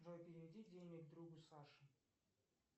джой переведи денег другу саше